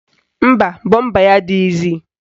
Mba, bọmba ya adịghịzi